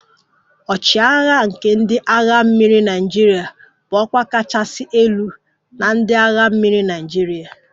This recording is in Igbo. "" Ochiagha nke ndị agha mmiri Naịjirịa bụ ọkwa kachasị elu na ndị agha mmiri Naịjirịa"